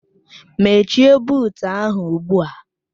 Mechie buut ahụ ugbu a!